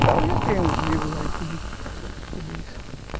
livros tudo isso